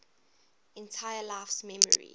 entire life's memories